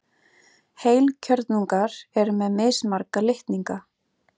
Heilkjörnungar eru með mismarga litninga.